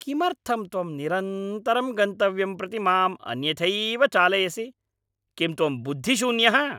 किमर्थं त्वं निरन्तरं गन्तव्यं प्रति मां अन्यथैव चालयसि? किं त्वं बुद्धिशून्यः?